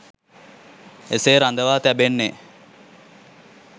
එසේ රඳවා තැබෙන්නේ